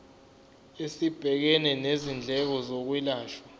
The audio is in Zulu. esibhekene nezindleko zokwelashwa